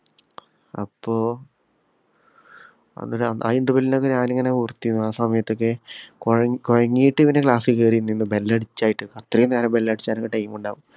അപ്പൊ ആ interval ഇനൊക്കെ ഞാന്‍ ഇങ്ങനെ ഓർത്തിരുന്നു ആ സമയത്തൊക്കെ കുഴ~കുഴങ്ങീട്ട് ഇവന്‍റെ കേറി നിന്നു ബെല്ലടിച്ചായിട്ടു അത്രയും ബെല്ലടിച്ചാനൊക്കെ time ഉണ്ടാവും.